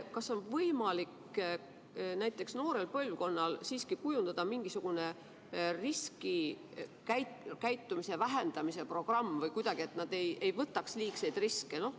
Kas on võimalik näiteks noorele põlvkonnale kujundada mingisugune riskikäitumise vähendamise programm, et nad ei võtaks liigseid riske?